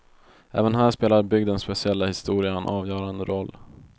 Även här spelar bygdens speciella historia en avgörande roll.